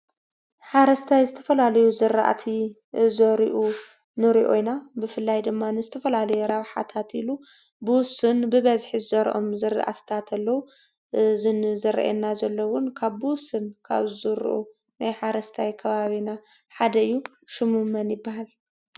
ሓረስታይ ዝተፈላለዩ ዝራእቲ ዘሪኡ ንሪኦ ኢና ።ብፍላይ ድማ ንዝተፈላለየ ረብሓታት ኢሉ ብውሱን ብበዝሒ ዝዘርኦም ዝራእትታት አለው። እዚ ዘርእየና ዘሎ እውን ካብ ብውሱን ካብ ዝዝርኡ ናይ ሓረስታይ ከባቢና ሓደ እዩ። ሽሙ መን ይበሃል?